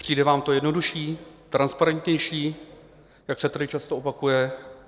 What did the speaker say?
Přijde vám to jednodušší, transparentnější, jak se tady často opakuje?